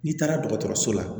N'i taara dɔgɔtɔrɔso la